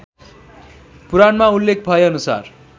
पुराणमा उल्लेख भएअनुसार